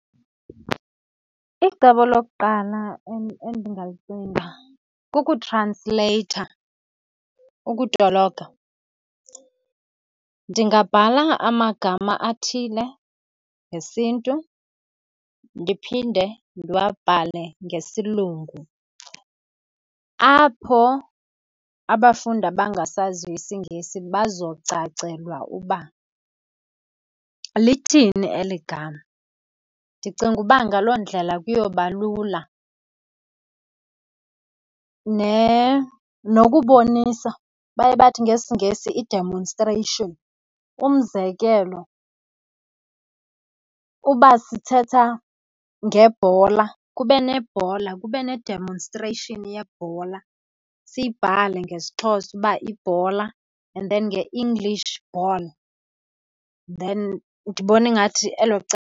Icebo lokuqala endingalicinga kukutransleyitha, ukutolika. Ndingabhala amagama athile ngesiNtu ndiphinde ndiwabhale ngesilungu, apho abafundi abangasaziyo isiNgesi bazocacelwa uba lithini eli gama. Ndicinga uba ngaloo ndlela kuyoba lula. Nokubonisa baye bathi ngesiNgesi i-demonstration. Umzekelo, uba sithetha ngebhola kube nebhola kube ne-demonstration yebhola, siyibhale ngesiXhosa uba ibhola and then nge-English ball, then ndibona ingathi elo cebo.